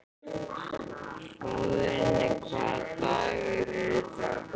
Hróðný, hvaða dagur er í dag?